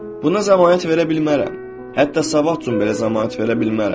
Buna zəmanət verə bilmərəm, hətta sabaha da belə zəmanət verə bilmərəm.